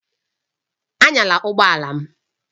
Anyala ụgbọ ala m!